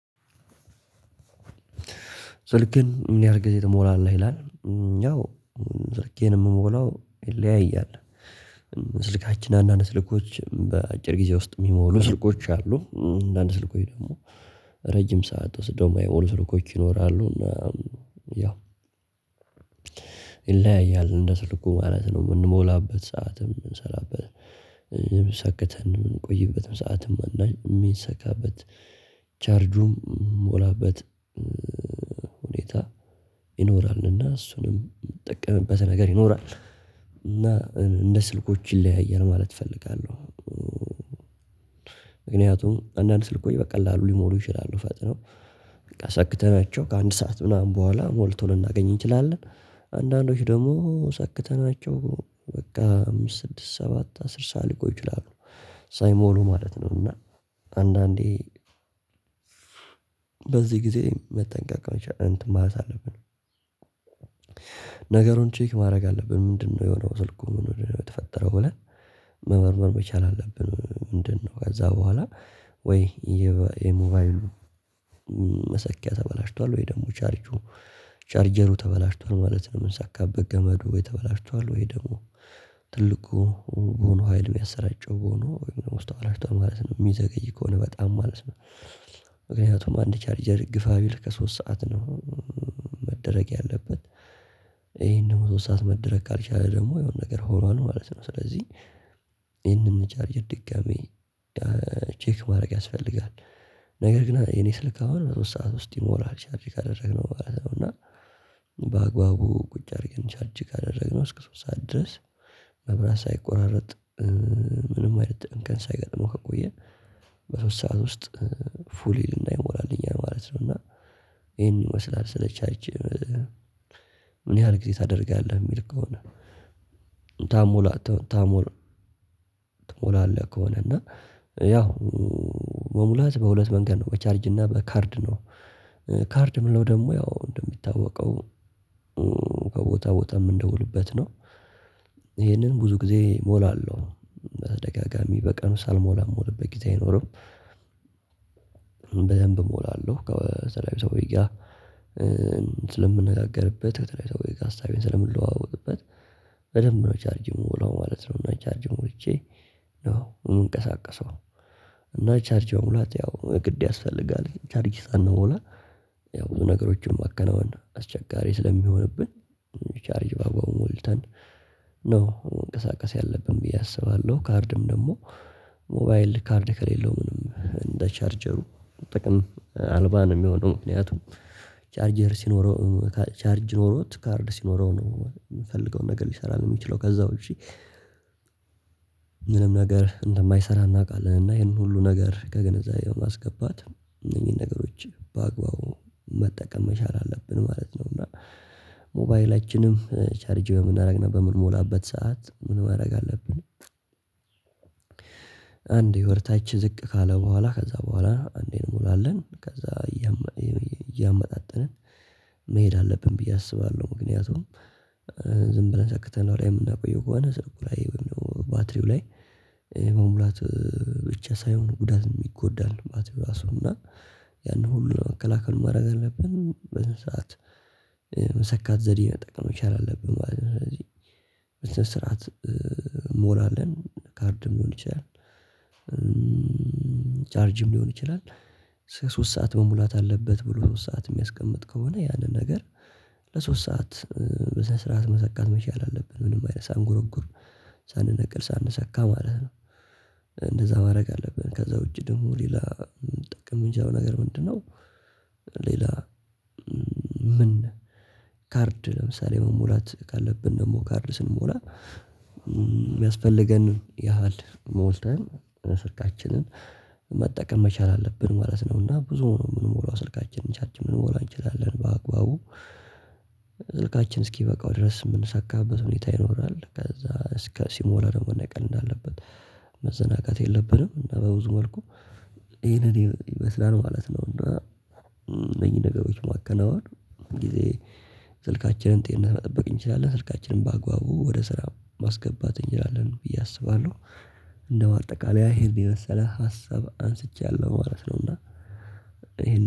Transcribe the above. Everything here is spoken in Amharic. ስልክን ምን ያህል ጊዜ ትሞላለህ ይላል? ያው ስልኬን የምሞላው ይለያያል። ስልካችን አንዳንድ ስልኮች በአጭር ጊዜ ውስጥ የሚሞሉ ስልኮች አሉ። አንድ ስልኮች ደግሞ ረጅም ሰዓት ወስደው ስልኮች ይኖራሉ እና ያው ይለያያል። እንደ ስልኩ ማለት ነው የምንሞላበት ሰዓትም ሰከተን የምንቆይበትም ሰዓትም እና የሚሰካበት ቻርጁም የሚሞላበት ሁኔታ ይኖራልና እሱንም የምጠቀምበት ነገር ይኖራል። እና እንደ ስልኮች ይለያያል ማለት ፈልጋለሁ። ምክንያቱም አንዳንድ ስልኮች በቀላሉ ሊሞሩ ይችላሉ ፈጥነው በቃ ሰክተናቸው ከአንድ ሰዓት ምናምን በኋላ ሞልቶ ልናገኝ እንችላለን። አንዳንዶች ደግሞ ሰክተናቸው በቃ አምስት ስድስት ሰባት አስር ሰዓት ሊቆይ ይችላሉ ሳይሞሉ ማለት ነው። እና አንዳንዴ በዚህ ጊዜ መጠንቀቅ መቻል እንትን ማለት አለብን። ነገሩን ቼክ ማድረግ አለብን ምንድነው የሆነው ስልኩን የተፈጠረው ብለን መመርመር መቻል አለብን። ምንድነው ከዛ በኋላ ወይ የሞባይሉ መሰኪያ ተበላሽቷል ወይ ደግሞ ቻርጁ ቻርጀሩ ተበላሽቷል ማለት ነው። የምንሳካበት ገመዱ ተበላሽቷል ወይ ደግሞ ትልቁ በሆነው ሀይል የሚያሰራጨው ሆኖ ውስጥ ተበላሽቷል ማለት ነው የሚዘገይ ከሆነ በጣም ማለት ነው። ምክንያቱም አንድ ቻርጀር ግፋ ቢል ከሶስት ሰዓት ነው። መደረግ ያለበት ይሄን ደግሞ ሶስት ሰዓት መደረግ ካልቻለ ደግሞ የሆነ ነገር ሆኗል ማለት ነው። ስለዚህ ይሄንን ቻርጅር ድጋሚ ቼክ ማድረግ ያስፈልጋል። ነገር ግን የኔ ስልክ አሁን ሶስት ሰዓት ውስጥ ይሞላል ቻርጅ ካደረግነው ማለት ነው። እና በአግባቡ ቁጭ አድርገን ቻርጅ ካደረግነው እስከ ሶስት ሰዓት ድረስ መብራት ሳይቆራርጥ ምንም እንከን ሳይገጥመው ከቆየ በሶስት ሰዓት ውስጥ ፉል ይልና ይሞላልኛሕ ማለት ነው። እና ይሄን ይመስላል ሰለቻርጅ ምን ያህል ጊዜ ታደርጋለህ የሚል ከሆነ ታሞላ ታሞላ ትሞላለህ? ከሆነ እና ያው መሙላት በሁለት መንገድ ነው በቻርጅ እና በካርድ ነው። ካርድ ምንለው ደግሞ ያው እንደሚታወቀው ከቦታ ቦታ የምንደውልበት ነው። ይሄንን ብዙ ጊዜ እሞላለሁ በተደጋጋሚ በቀኑ ሳልሞላ ምውልበት ጊዜ አይኖርም። በደንብ እሞላለሁ ከተለያዩ ሰዎች ጋ ስለምንነጋገርበት ከተለያዩ ሰዎች ጋር ሀሳቤን ስለምንለዋወጥበት በደንብ ነው ቻርጅ የምሞላው ማለት ነው። እና ቻርጅ ሞልቼ ነው የምንቀሳቀሰው እና ቻርጅ መሙላት ያው ግድ ያስፈልጋል ቻርጅ ሳንሞላ ያው ብዙ ነገሮችን ማከናወን አስቸጋሪ ስለሚሆንብን ቻርጅ በአግባቡ ሞልተን ነው መንቀሳቀስ ያለብን ብዬ አስባለሁ። ካርድም ደግሞ ሞባይል ካርድ ከሌለው ምንም እንደ ቻርጀሩ ጥቅም አልባ ነው የሚሆነው ምክንያቱም ቻርጀር ሲኖረው ቻርጅ ኖሮት ካርድ ሲኖረው ነው የምፈልገው ነገር ሊሰራ ነው የሚችለው። ከዛ ውጪ ምንም ነገር እንደማይሰራ እናቃለን እና ይሄንን ሁሉ ነገር ከግንዛቤ በማስገባት እነኚህን ነገሮች በአግባቡ መጠቀም መቻል አለብን ማለት ነው። እና ሞባይላችንም ቻርጅ በምናደርግና በምንሞላበት ሰዓት ምን ማድረግ አለብን? አንድ የወደ ታች ዝቅ ካለ በኋላ ከዛ በኋላ አንዴ እንሞላለን ከዛ እያመጣጠንን መሄድ አለብን ብዬ አስባለሁ። ምክንያቱም ዝም ብለን ሰክተነው ከላይ የምናቆየው ከሆነ ስልኩ ላይ ወይም ደግሞ ባትሪው ላይ የመሙላት ብቻ ሳይሆን ጉዳትም ይጎዳል ባትሪው እራሱ እና ያንን ሁሉ ለመከላከል ምን ማድረግ አለብን በስንት ሰዓት መሰካት ዘዴ መጠቀም መቻል አለብን ማለት ነው። ስለዚህ ስንት ሰዓት እንሞላለን? ካርድም ሊሆን ይችላል ቻርጅም ሊሆን ይችላል። እስከ ሶስት ሰዓት መሙላት አለበት ብሎ ሶስት ሰዓት የሚያስቀምጥ ከሆነ ያንን ነገር ለሶስት ሰዓት በዛ ስርዓት መሰካት መቻል አለብን ምንም አይነት ሳንጎረጉር ሳንነቅል ሳንሰካ ማለት ነው። እንደዛ ማድረግ አለብን ከዛ ውጪ ደግሞ ሌላ ልንጠቀም ይምንችለው ነገር ምንድነው? ሌላ ምን ካርድ ለምሳሌ መሞላት ካለብን ደግሞ ካርድ ስንሞላ የሚያስፈልገን ያህል ሞልተን ስልካችንን መጠቀም መቻል አለብን። ማለት ነው እና ብዙ ነው የምንሞላው ስልካችንን ቻርጅ ልንሞላ እንችላለን በአግባቡ ስልካችን እስኪበቃው ድረስ የምንሳካበት ሁኔታ ይኖራል ከዛ እስከ ሲሞላ ደሞ መነቀል እንዳለበት መዘናጋት የለብንም እና በብዙ መልኩ ይሄንን ይመስላል ማለት ነው። እና እነኚህ ነገሮች ማከናወን ጊዜ ስልካችንን ጤንነት መጠበቅ እንችላለን ስልካችንን ባግባቡ ወደ ስራ ማስገባት እንችላለን ብዬ አስባለሁ። እንደ ማጠቃለያ ይሄን የመሰለ ሀሳብ አንስቻለሁ ማለት ነው። እና